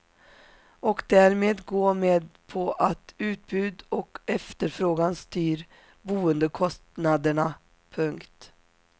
Och därmed gå med på att utbud och efterfrågan styr boendekostnaderna. punkt